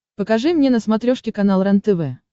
покажи мне на смотрешке канал рентв